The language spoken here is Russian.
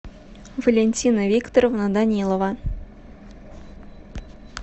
валентина викторовна данилова